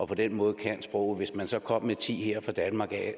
på den måde sproget hvis man så kom med ti her fra danmark